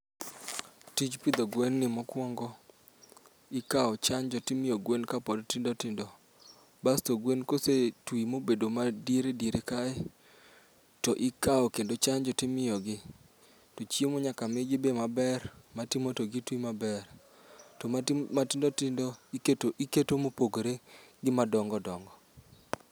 Tij pidho gwen ni mokuongo ikawo chanjo to imiyo gwen kapod tindo tindo basto gwen kosetwi mobedo madiere diere kae, to ikawo kendo chanjo to imiyogi. To chiemo be nyaka migi maber, ma timo to gitwi maber. To matindo tindo iketo mopogore gi madongo dongo